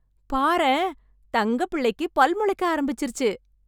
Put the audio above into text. பாரேன், தங்கப் புள்ளைக்கு பல் முளைக்க ஆரம்பிச்சுருச்சு.